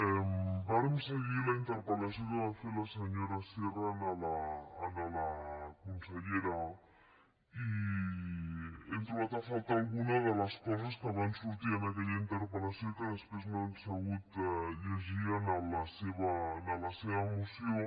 vàrem seguir la interpel·lació que va fer la senyora sierra a la consellera i hem trobat a faltar alguna de les coses que van sortir en aquella interpel·lació i que després no hem sabut llegir en la seva moció